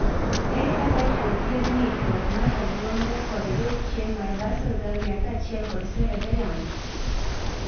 Ere kaka inyalo thiedh ng'ikruok mar obuongo kod dok chien mar basal ganglia kaachiel kod cerebellum (H ABC)?